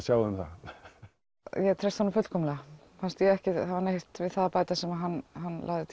sjá um það ég treysti honum fullkomlega fannst ég ekki hafa neitt við það að bæta sem hann lagði til